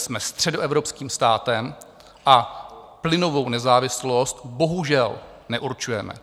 Jsme středoevropským státem a plynovou nezávislost bohužel neurčujeme.